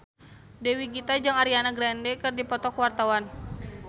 Dewi Gita jeung Ariana Grande keur dipoto ku wartawan